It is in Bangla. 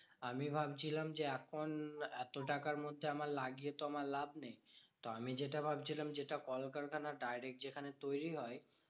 আমি ভাবছিলাম যে এখন এত টাকার মধ্যে আমার লাগিয়ে তো আমার লাভ নেই। তো আমি যেটা ভাবছিলাম যেটা কলকারখানা direct যেখানে তৈরী হয়